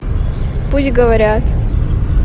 пусть говорят